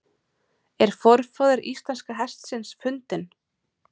Er forfaðir íslenska hestsins fundinn?